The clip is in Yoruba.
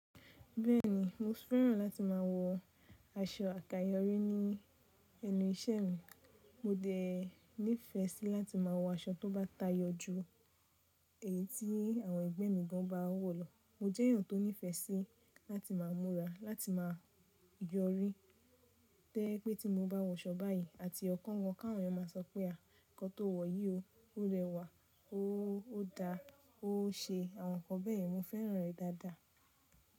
Bẹ́ẹ̀ni mo fẹ́ràn láti máa wọ aṣọ àkayọ̀rí ní ẹnu ìṣẹ́ mi. Mo dẹ nífẹ́ sí láti máa wọ aṣọ tó bá tayọ ju èyí tí àwọn ẹgbẹ́ mi gan ba wò lọ. Mo jẹ́ èèyàn tó nífẹ́ sí láti máa múra, láti máa yọrí. To je pé tí mo bá wọ aṣọ báyìí àti ọ̀okan gan k'àwọn máa sọ pé à nǹkan tó wọ̀ yìí o, ó rẹwà o, ó da o, ó ṣe. Àwọn nǹkan bẹ́ẹ̀yen mo fẹ́ràn rẹ̀ dáadáa.